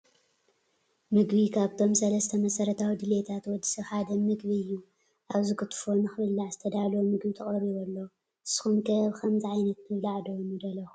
ምግቢ፡- ካብቶም ሰለስተ መሰረታዊ ድልየታት ወዲ ሰብ ሓደ ምግቢ እዩ፡፡ ኣብዚ ክትፎ ንኽብላዕ ዝተዳለወ ምግቢ ተቐሪቡ ኣሎ፡፡ ንስኹም ከ ብኸምዚ ዓይነት ምብላዕ ዶ ንደለኹም?